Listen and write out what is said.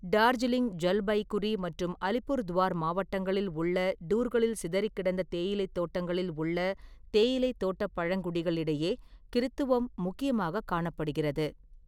டார்ஜிலிங், ஜல்பைகுரி மற்றும் அலிபுர்துவார் மாவட்டங்களில் உள்ள டூர்களில் சிதறிக்கிடந்த தேயிலைத் தோட்டங்களில் உள்ள தேயிலைத் தோட்டப் பழங்குடிகளிடையே கிறித்துவம் முக்கியமாகக் காணப்படுகிறது.